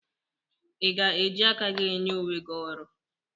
I ga-eji aka gị nye onwe gị ọrụ?